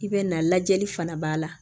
I bɛ na lajɛli fana b'a la